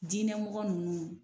Diinɛ mɔgɔ ninnu.